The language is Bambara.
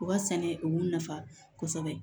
U ka sɛnɛ u b'u nafa kosɛbɛ